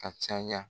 Ka caya